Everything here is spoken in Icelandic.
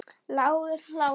Lágur hlátur.